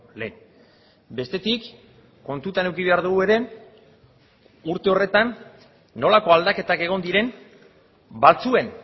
lehen bestetik kontutan eduki behar dugu ere urte horretan nolako aldaketak egon diren batzuen